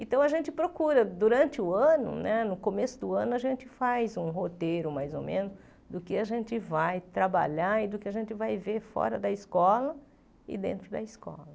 Então a gente procura, durante o ano né, no começo do ano, a gente faz um roteiro mais ou menos do que a gente vai trabalhar e do que a gente vai ver fora da escola e dentro da escola.